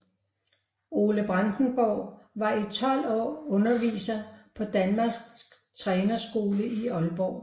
Ole Brandenborg var i 12 år underviser på Danmarks Trænerskole i Aalborg